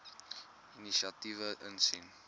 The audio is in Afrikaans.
inisiatiewe insien